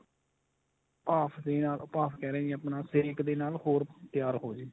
ਭਾਫ ਦੇ ਨਾਲ ਉਹ ਭਾਫ ਕਿਹ ਰਿਹਾ ਜੀ ਆਪਣਾ ਸੇਕ ਦੇ ਨਾਲ ਹੋਰ ਤਿਆਰ ਹੋ ਜੇ